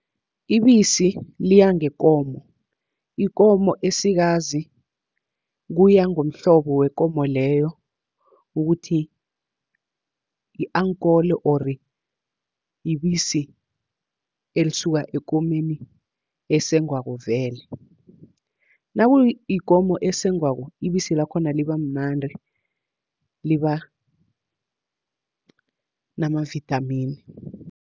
Ibisi liya ngekomo, ikomo esikazi kuya ngomhlobo wekomo leyo ukuthi yi-ankole or ibisi elisuka ekomeni esengwako vele. Nakuyikomo esengwako ibisi lakhona liba mnandi liba namavithamini.